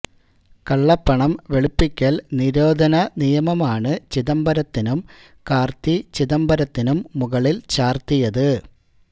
കള്ളപ്പണം വെളുപ്പിക്കൽ നിരോധന നിയമമാണ് ചിദംബരത്തിനും കാർത്തി ചിദംബരത്തിനും മുകളിൽ ചാർത്തിയത്